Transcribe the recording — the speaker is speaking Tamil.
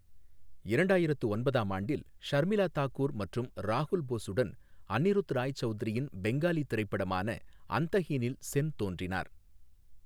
இரண்டாயிரத்து ஒன்பதாம் ஆண்டில், ஷர்மிளா தாகூர் மற்றும் ராகுல் போஸுடன் அன்னிருத் ராய் சவுத்ரியின் பெங்காலி திரைப்படமான அந்தஹீனில் சென் தோன்றினார்.